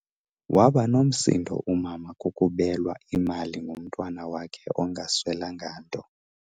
Waba nomsindo umama kukubelwa kukubelwa imali ngumntwana wakhe engaswelanga nto.